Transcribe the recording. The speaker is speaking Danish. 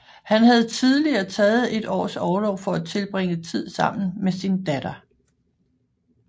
Han havde tidligere taget et års orlov for at tilbringe tid sammen med sin datter